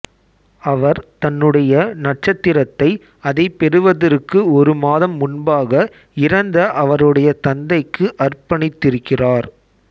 அவர் தன்னுடைய நட்சத்திரத்தை அதைப் பெறுவதற்கு ஒரு மாதம் முன்பாக இறந்த அவருடைய தந்தைக்கு அர்ப்பணித்திருக்கிறார்